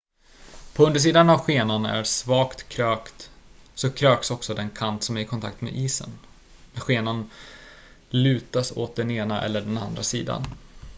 då undersidan av skenan är svagt krökt så kröks också den kant som är i kontakt med isen när skenan lutas åt den ena eller den andra sidan